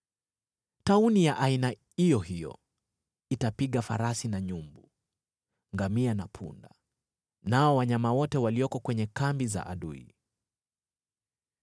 Tauni ya aina iyo hiyo itapiga farasi na nyumbu, ngamia na punda, nao wanyama wote walioko kwenye kambi za adui.